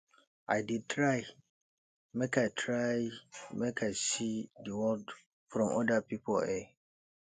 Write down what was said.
i dey try make i try make i see di world from oda pipo eye